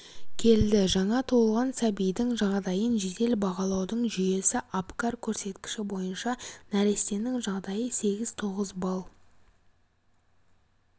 келді жаңа туылған сәбидің жағдайын жедел бағалаудың жүйесі апгар көрсеткіші бойынша нәрестенің жағдайы сегіз-тоғыз балл